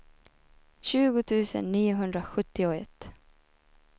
tjugo tusen niohundrasjuttioett